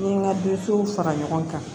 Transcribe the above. N ye n ka denmusow fara ɲɔgɔn kan